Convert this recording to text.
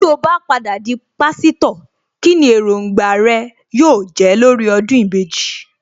Tí ó bá padà di Pásítọ̀, kíni Èròǹgbà rẹ yóò jẹ́ lórí ọdún ìbejì